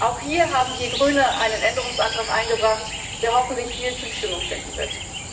Auch hier haben wir Grüne einen Änderungsantrag eingebracht, der hoffentlich viel Zustimmung finden wird.